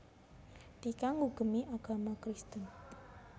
Tika ngugemi agama Kristen